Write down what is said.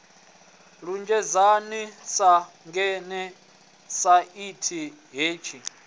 lunzhedzana sa ngeḓane tshaini hetshi